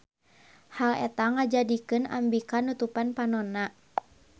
Hal eta ngajadikeun Ambika nutupan panonna.